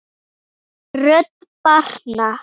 Rödd barna